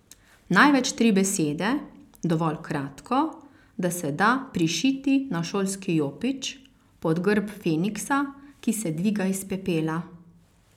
Največ tri besede, dovolj kratko, da se da prišiti na šolski jopič, pod grb feniksa, ki se dviga iz pepela.